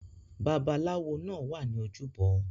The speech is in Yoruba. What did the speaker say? Babalawó náà wa ni ojúbọ